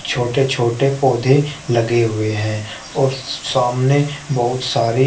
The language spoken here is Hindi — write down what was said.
छोटे छोटे पौधे लगे हुए हैं और सामने बहुत सारे।